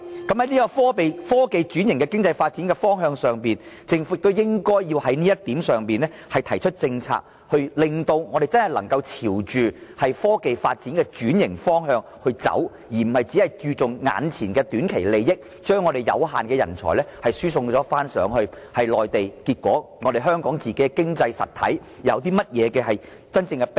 在科技轉型的經濟發展的方向上，政府也應在這方面制訂政策，令香港真的能夠朝着科技轉型的發展方向前進，而不是注重眼前的短期利益，將香港有限的人才輸送內地，結果對香港的經濟實體有甚麼真正裨益？